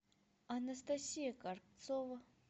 анастасия карцова